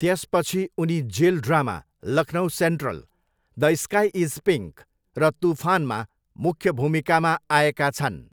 त्यसपछि उनी jail drama 'Lucknow central', 'the sky is pink' र 'तुफान'मा मुख्य भूमिकामा आएका छन्।